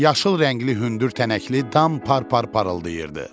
Yaşıl rəngli hündür tənəkli dam par-par parıldayırdı.